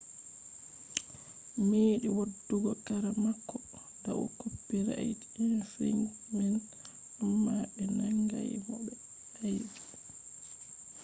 meɗi waddugo kara mako dau copirait infringment amma be nangai mo be aibe